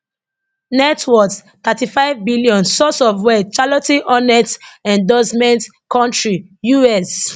net worth thirty five billion source of wealth charlotte hornets endorsements country U.S